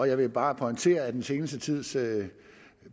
jeg vil bare pointere at den seneste tids